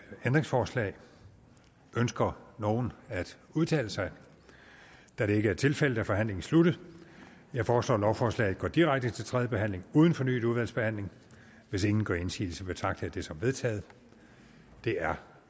ændringsforslag ønsker nogen at udtale sig da det ikke er tilfældet er forhandlingen sluttet jeg foreslår at lovforslaget går direkte til tredje behandling uden fornyet udvalgsbehandling hvis ingen gør indsigelse betragter som vedtaget det er